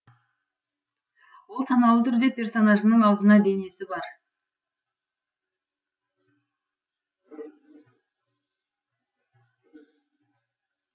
ол саналы түрде персонажының аузына денесі бар